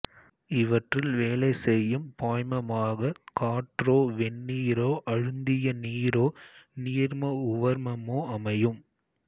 இவற்றில் வேலை செய்யும் பாய்மமாகக் காற்றோ வெந்நீரோ அழுந்திய நீரோ நீர்ம உவர்மமோ அமையும்